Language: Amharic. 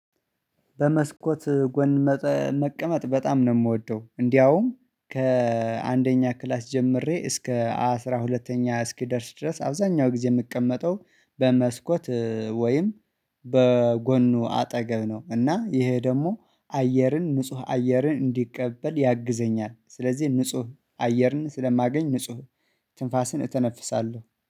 በመስኮት ጎን መቀመጥ በጣም ነው የምወደው እንደውም ከአንደኛ ክላስ ጀምሬ እስከ አስራ ሁለተኛ እስኪደርስ ድረስ አብዛኛው ጊዜ የምቀመጠው በመስኮት ወይም በጎኑ አጠገብ ነው። እና ይሄ ደግሞ አየርን ንጹህ አየርን እንዲቀበል ያግዘኛል። ስለዚህ ንጹህ አየርን ስለማገኝ ንጹህ ትንፋስን እተነፍሳለሁ